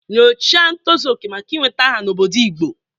Nyochaa ntozu oke maka ị nweta aha n'obodo Igbo.